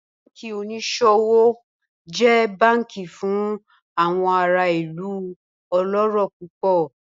Banki oniṣowo jẹ banki fun awọn ara ilu ọlọrọ pupọ